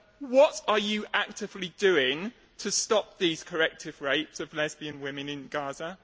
what are you actively doing to stop these corrective rapes of lesbian women in Gaza?